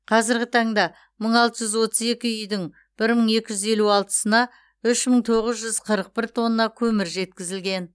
қазіргі таңда мың алты жүз отыз екі үйдің бір мың екі жүз елу алтысына үш мың тоғыз жүз қырық бір тонна көмір жеткізілген